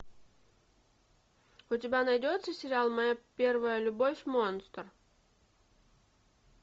у тебя найдется сериал моя первая любовь монстр